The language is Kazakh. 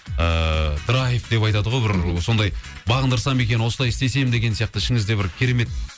ыыы драйф деп айтады ғой бір сондай бағындырсам екен осылай істесем деген сияқты ішіңізде бір керемет